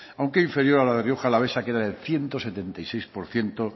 aunque inferior a la de rioja alavesa que era ciento setenta y seis por ciento